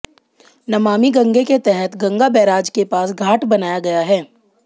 नमामि गंगे के तहत गंगा बैराज के पास घाट बनाया गया है